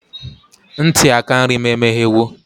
Ntị aka nri m emeghewo.